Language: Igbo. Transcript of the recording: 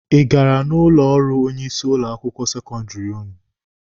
Ị gara n'ụlọ ọrụ onye isi ụlọ akwụkwọ sekọndịrị ụnụ?